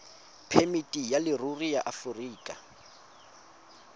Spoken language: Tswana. phemiti ya leruri ya aforika